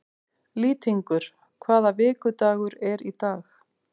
Lýtingur, hvaða vikudagur er í dag?